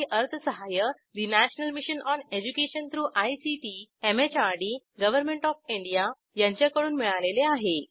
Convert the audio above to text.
यासाठी अर्थसहाय्य national mission on education through ICT MHRD government of India यांच्याकडून मिळालेले आहे